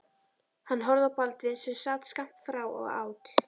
Hann horfði á Baldvin sem sat skammt frá og át.